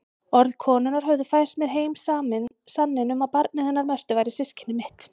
Orð konunnar höfðu fært mér heim sanninn um að barnið hennar Mörtu væri systkini mitt.